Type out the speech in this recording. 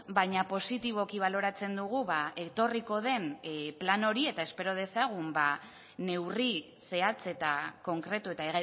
baina positiboki baloratzen dugu etorriko den plan hori eta espero dezagun neurri zehatz eta konkretu eta